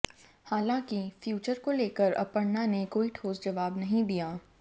हालांकि फ्यूचर को लेकर अपर्णा ने कोई ठोस जवाब नहीं दिया